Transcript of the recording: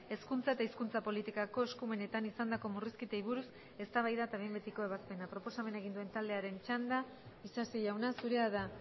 hezkuntza eta hizkuntza politikako eskumenetan izandako murrizketei buruz eztabaida eta behin betiko ebazpena proposamena egin duen taldearen txanda isasi jauna zurea da